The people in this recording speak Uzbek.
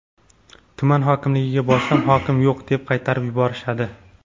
Tuman hokimligiga borsam, hokim yo‘q deb qaytarib yuborishadi.